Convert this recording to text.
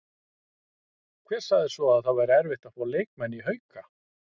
Hver sagði svo að það væri erfitt að fá leikmenn í Hauka?